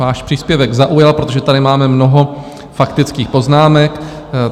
Váš příspěvek zaujal, protože tady máme mnoho faktických poznámek.